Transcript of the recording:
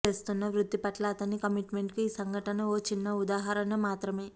చేస్తున్న వృత్తిపట్ల అతని కమిట్మెంట్కు ఈ సంఘటన ఓ చిన్న ఉదాహరణ మాత్రమే